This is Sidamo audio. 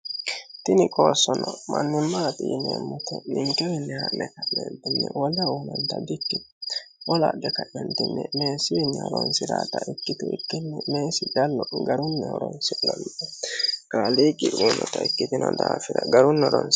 Tinni qoosonno manimatte yinemoitti ninikewini haane ka'netinni woleho uyinanitta dikkitino wolu adhe kae meesiwinni horonisiratta ikkitu ikkino meesi callu garrunni horonisinanni kaaliqqi uyinotta ikkitino daafira garinni horonisira